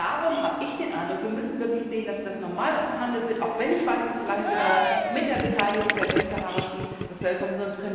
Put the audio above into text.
Darum habe ich den Eindruck, wir müssen wirklich sehen, dass das normal verhandelt wird auch wenn ich weiß, es hat so lange gedauert mit der Beteiligung der westsaharauischen Bevölkerung.